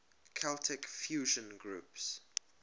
celtic fusion groups